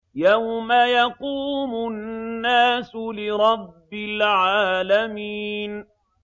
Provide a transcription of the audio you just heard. يَوْمَ يَقُومُ النَّاسُ لِرَبِّ الْعَالَمِينَ